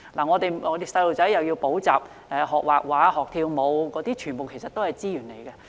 我們的子女要補習、學繪畫、學跳舞等，全部需要資源。